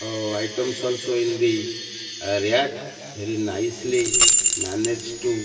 oh items also in the rack very nicely manage to --